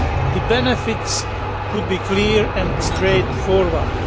The benefits could be clear and straightforward.